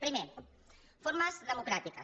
primer formes democràtiques